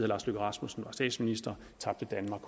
lars løkke rasmussen var statsminister tabte danmark